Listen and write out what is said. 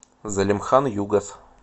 залимхан югас